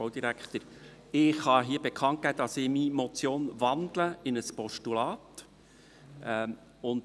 Ich kann hier bekannt geben, dass ich meine Motion in ein Postulat wandle.